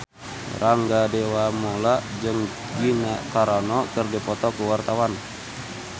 Rangga Dewamoela jeung Gina Carano keur dipoto ku wartawan